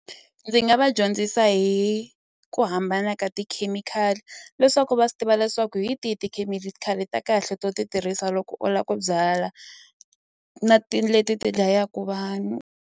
Ndzi nga va dyondzisa hi ku hambana ka tikhemikhali leswaku va swi tiva leswaku hi tihi tikhemikhali ta kahle to ti tirhisa loko u la ku byala na ti leti ti dlayaku vanhu.